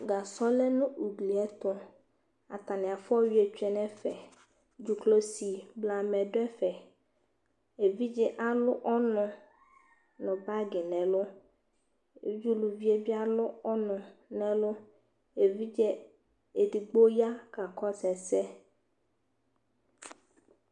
Gasɔ lɛ nu ugli ɛtu Atani afua ɔyuiɛ tsue nu ɛfɛ Dzuklɔsi blamɛ du ɛfɛ Evidze alu ɔnu nu akpo nu ɛlu Evidze uluvie bi alu ɔnu nu ɛlu Evidze edigbo ya kakɔsu ɛsɛ